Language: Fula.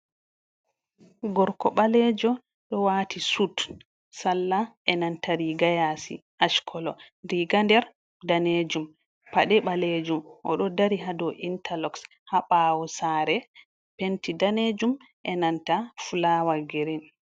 Gorko ɓalejo ɗo wati sut salla e nanta riga yaasi ash kolo riga nder danejum pade ɓalejum, oɗo dari ha dou interloks ha ɓaawo saare penti daneejum e nanta fulawa girin.